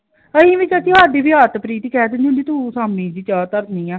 ਸ਼ਾਮੀ ਜੀ ਚਾਹ ਧਰਨੀ ਆl ਹੱਮ ਅੱਜ ਅੰਸ਼ ਆ ਗਯਾ ਅੰਸ਼ ਨੂੰ ਡਾਲੀ ਆ ਚਾਹ ਬਣਾ ਕੇ ਹੱਮ ਦੋ ਵਾਰ ਨਿਭੂ ਪਾਣੀ ਪਿਆ ਲਿਆ ਆ ਉਣੁ ਵੀ ਬਣਾ ਕ ਸ਼ੀਆ